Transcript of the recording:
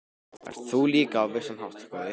En það ert þú nú líka á vissan hátt, góði